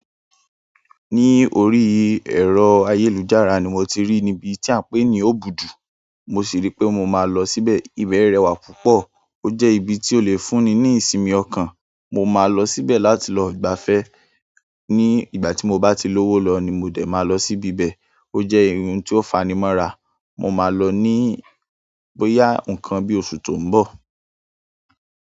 Ní orí ẹ̀rọ ayélujára ni mo ti rí níbi tí à ń pè ní Òbùdù. Mo sì rí pé mo máa lọ síbẹ̀. Ibẹ̀ ẹ́ rẹwà púpọ̀, ó jẹ́ ibi tí ó lè fúnni ní ìsinmi ọkàn. Mo máa lọ síbẹ̀ láti lọ gbafẹ́. Ní ìgbà tí mo bá ti lówó lọ ni mo dẹ̀ máa lọ síbi bẹ̀. Ó jẹ́ ihun tí ó fani mọ́ra, mo máa lọ ní bóyá nǹkan bí oṣù tó ń bọ̀.